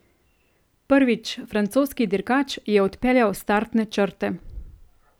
Prvič, francoski dirkač je odpeljal s startne črte.